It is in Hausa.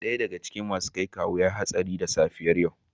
Daya daga cikin masu kwaikwayo ya yi hatsari da safiyar yau.